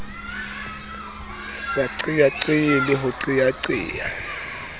sa qeaqee le ho qeaqea